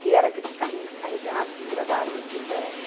Que era aqueles carrinhos que carregavam os engradados de pés.